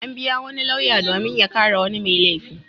An biya wani lauya domin ya kare wani mai laifi.